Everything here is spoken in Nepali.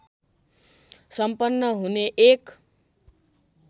सम्पन्न हुने एक